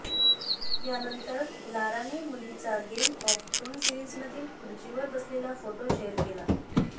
यानंतर लाराने मुलीचा गेम ऑफ थ्रोन सीरिजमधील खुर्चीवर बसलेला फोटो शेअर केला